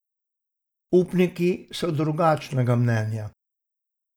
Upniki so drugačnega mnenja.